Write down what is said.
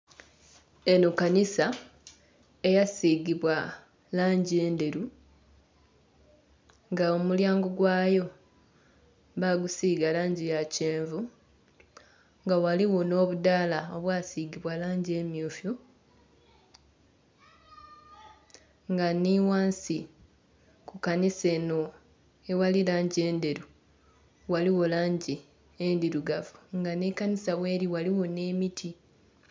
Eno kanisa eyasiigibwa langi endheru, nga omulyango gwayo baagusiiga langi ya kyenvu, nga ghaligho nh'obudaala obwasigibwa langi emmyufu. Nga nhi ghansi ku kanisa eno eghali langi endheru ghaligho langi endhirugavu. Nga nhi kanisa gheli ghaligho nh'emiti.